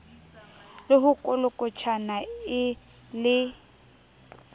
le ho kolokotjhana e le